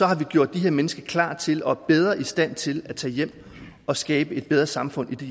har vi gjort de her mennesker klar til og bedre i stand til at tage hjem og skabe et bedre samfund i